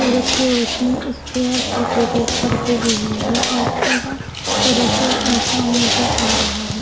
सूरज की रोशनी इस चेयर्स और टेबल्स पर गिर रही हैऔर पूरा तरह से सुनसान नजर आ रहा है।